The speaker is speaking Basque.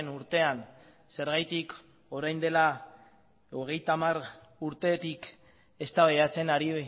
urtean zergatik orain dela hogeita hamar urtetik eztabaidatzen ari